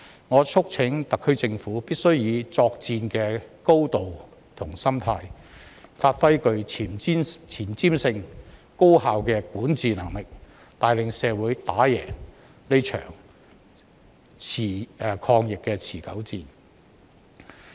我促請特區政府必須以作戰的高度和心態，發揮具前瞻性、高效的管治能力，帶領社會打贏這場抗疫持久戰。